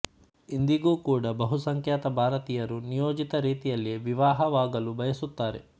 ಇಂದಿಗೂ ಕೂಡ ಬಹುಸಂಖ್ಯಾತ ಭಾರತೀಯರು ನಿಯೋಜಿತ ರೀತಿಯಲ್ಲೇ ವಿವಾಹವಾಗಲು ಬಯಸುತ್ತಾರೆ